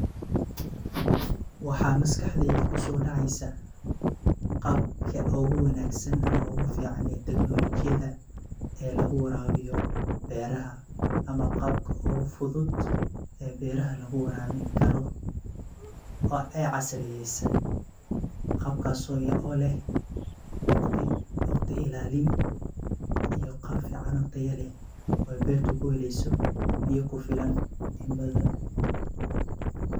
Waxaa maskaxdeyda kuso dacesa qabka teknoloyida ooyacni teknolojiyad oo beraha lagu warabin karo oo casriyeysan oo fudud taso leh waqti ilalin , biyo kufilan in badan.